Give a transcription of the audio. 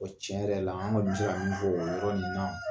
O tiɲɛ yɛrɛ la an ŋa dɔɔni fɔ o yɔrɔ nin na